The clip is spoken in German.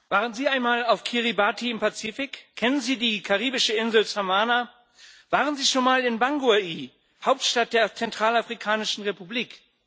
Frau Präsidentin! Waren Sie einmal auf Kiribati im Pazifik? Kennen Sie die karibische Insel Samaná? Waren Sie schon mal in Bangui, Hauptstadt der Zentralafrikanischen Republik?